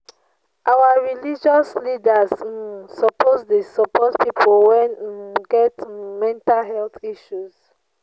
Our religious leaders um suppose dey support pipo wey um get um mental health issues.